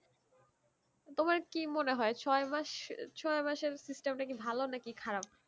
তোমার কি মনে হয়ে ছয় মাস ছয় মাসের system টা কি ভালো নাকি খারাপ?